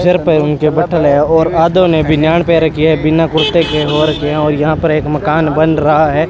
Sir पर उनके बट्ठल है और आधों ने बनियान पहन रखी है बिना कुर्ते के और क्या और यहां पर एक मकान बन रहा है।